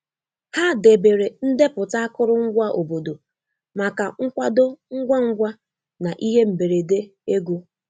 Ha debere ndepụta akụrụngwa obodo maka nkwado ngwa ngwa na ihe mberede ego.